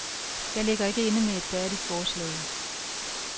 Jeg ligger ikke inde med et færdigt forslag.